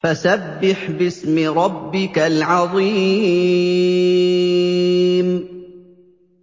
فَسَبِّحْ بِاسْمِ رَبِّكَ الْعَظِيمِ